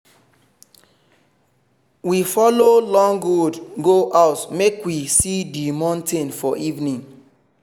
we follow long road go house make we see di mountain for evening